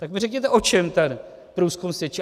Tak mi řekněte, o čem ten průzkum svědčí.